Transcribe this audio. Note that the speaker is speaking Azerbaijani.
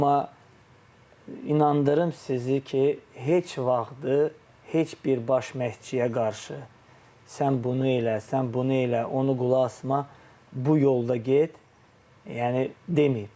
Amma inandırım sizi ki, heç vaxtı heç bir baş məşqçiyə qarşı sən bunu elə, sən bunu elə, onu qulaq asma, bu yolda get, yəni deməyib.